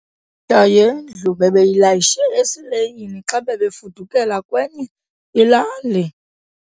yendlu bebeyilayishe esileyini xa bebefudukela kwenye ilali.